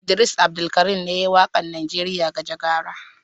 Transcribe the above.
Idris Abdulkarim ne ya yi waƙar Najeriya Gajagaja.